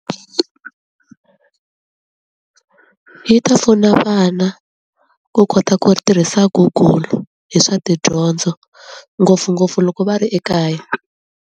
Yi ta pfuna vana ku kota ku tirhisa google hi swa ti dyondzo ngopfungopfu loko va ri ekaya.